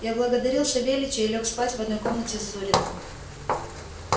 я благодарил савельича и лёг спать в одной комнате с зуриным